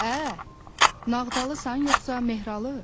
Ə, Nağdalısan yoxsa Mehralı?